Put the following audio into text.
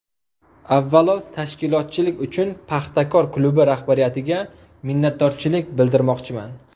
Avvalo tashkilotchilik uchun ‘Paxtakor’ klubi rahbariyatiga minnatdorchilik bildirmoqchiman.